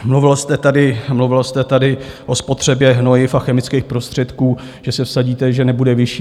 Mluvil jste tady o spotřebě hnojiv a chemických prostředků, že se vsadíte, že nebude vyšší.